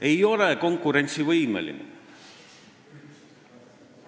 Ei ole konkurentsivõimeline.